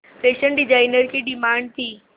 fashion designer की demand थी